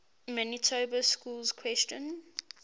manitoba schools question